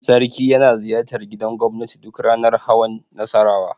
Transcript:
Sarki yana ziyartar gidan gobnati duk ranar hawan Nassarawa.